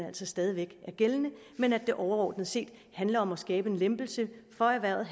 altså stadig væk er gældende men at det overordnet set handler om at skabe en lempelse for erhvervet